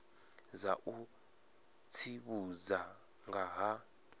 dza u tsivhudza nga ha